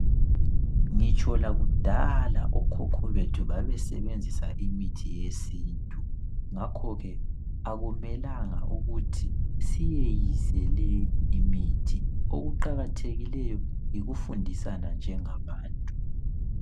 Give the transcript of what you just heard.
Ngitsho lakudala okhokho bethu babesebenzisa imithi yesintu ngakhoke akumelanga ukuthi siyeyise le imithi. Okuqakathekileyo yikufundisana njengabantu